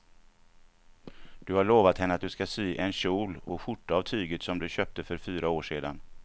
Du har lovat henne att du ska sy en kjol och skjorta av tyget du köpte för fyra år sedan.